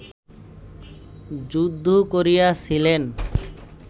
যুদ্ধ করিয়াছিলেন